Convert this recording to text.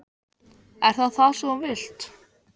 Er það það sem þú vilt?